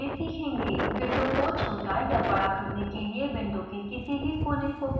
window को छोटा या बड़ा करने के लिए विंडो के किसी भी कोने को पकड़कर खींचें